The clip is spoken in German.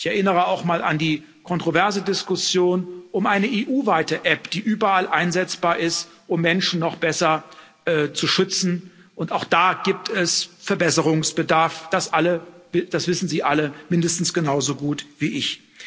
Ich erinnere auch noch einmal an die kontroverse Diskussion um eine EU weite App, die überall einsetzbar ist, um Menschen noch besser zu schützen, und auch da gibt es Verbesserungsbedarf, das wissen Sie alle mindestens genauso gut wie